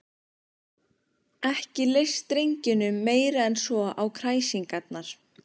Ekki leist drengjunum meira en svo á kræsingarnar.